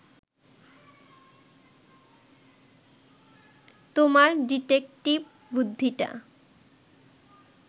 তোমার ডিটেকটিভ বুদ্ধিটা